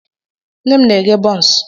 Nne m na-eghe bonsuu.